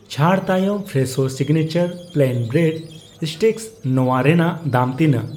ᱪᱷᱟᱹᱲ ᱛᱟᱭᱚᱢ Fresho signature plain bread sticks ᱱᱚᱣᱟ ᱨᱮᱱᱟᱜ ᱫᱟᱢ ᱛᱤᱱᱟᱜ?